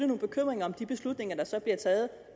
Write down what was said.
de beslutninger der så bliver taget